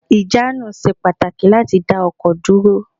Ìjánu ṣe pàtàkì láti dá ọkọ̀ dúró